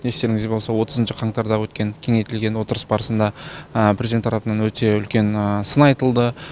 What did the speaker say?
естеріңізде болса отызыншы қаңтарда өткен кеңейтілген отырыс барысында президент тарапынан өте үлкен сын айтылды